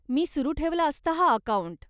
मी सुरु ठेवला असता हा अकाऊंट.